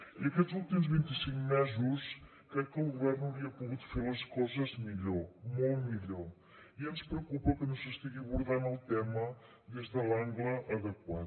i aquests últims vint i cinc mesos crec que el govern hauria pogut fer les coses millor molt millor i ens preocupa que no s’estigui abordant el tema des de l’angle adequat